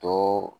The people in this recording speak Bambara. To